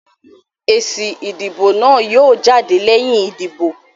Èsì ìdìbò náà yóò jáde lẹ́yìn ìdìbò